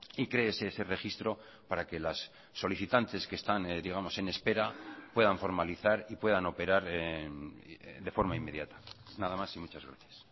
y créese ese registro para que las solicitantes que están digamos en espera puedan formalizar y puedan operar de forma inmediata nada más y muchas gracias